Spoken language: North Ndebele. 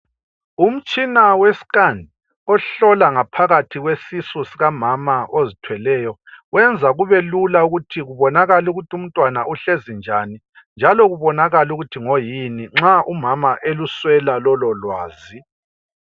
Umtshina we scan ohlola ngaphakathi kwesisu sikamama ozithweleyo wenza kubelula ukuthi kubonakale ukuthi umntwana uhlezi njani njalo kubonakale ukuthi ngoyini nxa umama eluswela lolo lwazi.